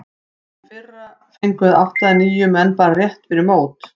Í fyrra fengum við átta eða níu menn bara rétt fyrir mót.